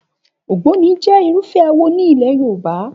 Ògbóni jẹ́ Irúfẹ́ awo ní ilẹ̀ Yorùbá.